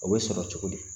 O bɛ sɔrɔ cogo di